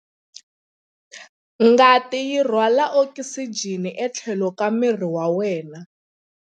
Ngati yi rhwala okisijeni etlhelo ka miri wa wena.